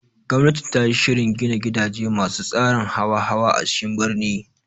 Gwamnati tayi shirin gini gidaje masu tsarin hawa-hawa a cikin birni